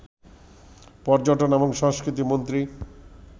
পর্যটন এবং সংস্কৃতি মন্ত্রী